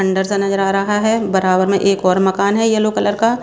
अंदर सा नजर आ रहा है बराबर में एक और मकान है येलो कलर का।